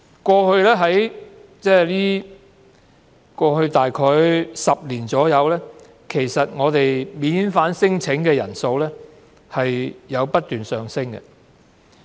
過去約10年間，在香港提出免遣返聲請的人數不斷上升。